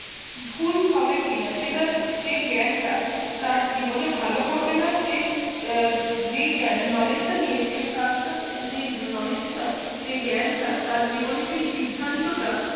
ভুল হবে কিনা সেটার সেই জ্ঞান টা তার জীবনে ভালো করবে না সেই যেই জ্ঞান knowledge টা নিয়ে সে কাজ টা করছে সেই knowledge টা সেই জ্ঞান টা তার জীবনে সেই সিদ্ধান্ত টা